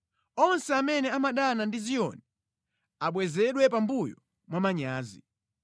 Onse amene amadana ndi Ziyoni abwezedwe pambuyo mwamanyazi.